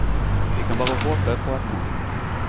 Vi kan bare håpe på et nei.